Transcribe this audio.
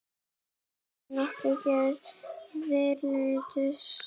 Til eru nokkrar gerðir leturs